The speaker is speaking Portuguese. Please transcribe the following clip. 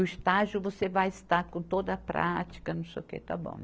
O estágio você vai estar com toda a prática, não sei o que, tá bom.